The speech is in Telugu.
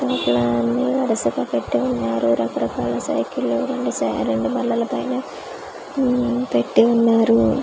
లోపల అన్నీ వరసగా పెట్టి ఉన్నారు రకరకాల సైకిళ్ళు రెండు బల్లల పైన ఉమ్ పెట్టి ఉన్నారు.